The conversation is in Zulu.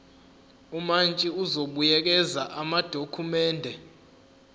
umantshi uzobuyekeza amadokhumende